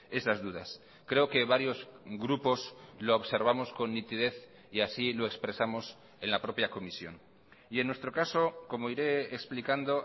esas dudas creo que varios grupos lo observamos con nitidez y así lo expresamos en la propia comisión y en nuestro caso como iré explicando